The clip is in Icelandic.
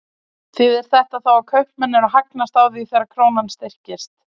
Þýðir þetta þá að kaupmenn eru að hagnast á því þegar krónan styrkist?